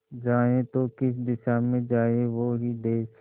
जाए तो किस दिशा में जाए वो ही देस